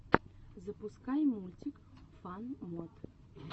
запускай мультик фан мод